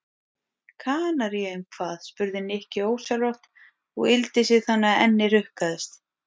Kanaríeyjum hvað? spurði Nikki ósjálfrátt og yggldi sig þannig að ennið hrukkaðist.